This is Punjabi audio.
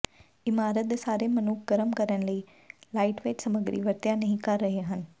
ਇਮਾਰਤ ਦੇ ਸਾਰੇ ਮਨੁੱਖ ਗਰਮ ਕਰਨ ਲਈ ਲਾਈਟਵੇਟ ਸਮੱਗਰੀ ਵਰਤਿਆ ਨਹੀ ਕਰ ਰਹੇ ਹਨ